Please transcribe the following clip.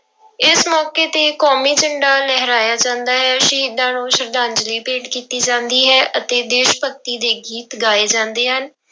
ਇਸ ਮੌਕੇ ਤੇ ਕੌਮੀ ਝੰਡਾ ਲਹਰਾਇਆ ਜਾਂਦਾ ਹੈ, ਸ਼ਹੀਦਾਂ ਨੂੰ ਸਰਧਾਂਂਜਲੀ ਭੇਟ ਕੀਤੀ ਜਾਂਦੀ ਹੈ ਅਤੇ ਦੇਸ ਭਗਤੀ ਦੇ ਗੀਤ ਗਾਏ ਜਾਂਦੇ ਹਨ।